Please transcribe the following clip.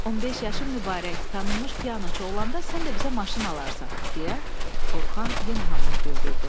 15 yaşın mübarək, tanınmış pianoçu olanda sən də bizə maşın alarsan, deyə Orxan yenə hamını güldürdü.